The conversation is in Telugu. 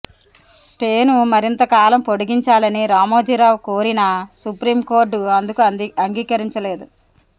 స్టేను మరింత కాలం పొడిగించాలని రామోజీరావు కోరినా సుప్రీం కోర్టు అందుకు అంగీకరించలేదు